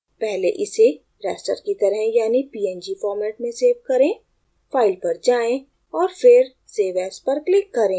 पहले इसे raster की तरह यानि png format में सेव करें file पर जाएँ और फिर save as पर click करें